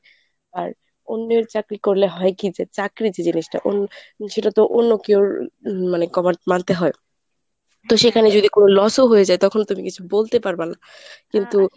আর অন্যের চাকরি করলে হয় কি যে চাকরি যে জিনিসটা অন্য সেটা তো অন্য কেউ মানে cover মানতে হয় তো সেখানে যদি কোনো loss ও হয়ে যায় তখন তুমি কিছু বলতে পারবা না। কিন্তু